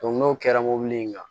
n'o kɛra mobili in kan